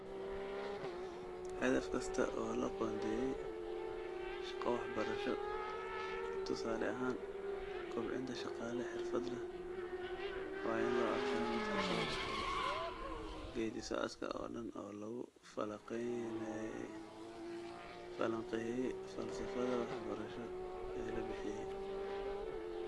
Hadafka kasta oo loo qoondeeyay shaqo waxbarasho, tusaale ahaan kobcinta shaqaale xirfad leh, waa in loo arkaa mid ka soo baxay geeddi-socodka oo dhan oo lagu falanqeeyay falsafadda waxbarasho ee la bixiyay.